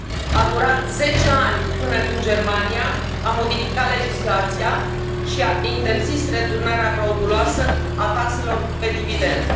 A durat zece ani până când Germania a modificat legislația și a interzis returnarea frauduloasă a taxelor pe dividende.